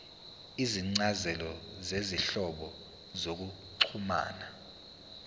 izincazelo zezinhlobo zokuxhumana